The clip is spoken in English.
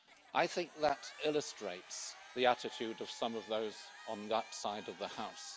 I think that illustrates the attitude of some of those on that side of the House.